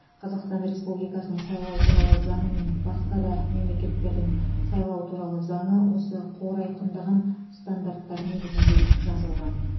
қазақстан республикасының сайлау туралы заңы мен басқа да мемлекеттердің сайлау туралы заңы осы қор айқындаған стандарттар негізінде жазылған